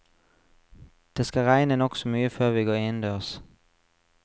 Det skal regne nokså mye før vi går innendørs.